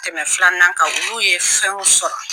tɛmɛ filanan kan olu ye fɛnw sɔrɔ.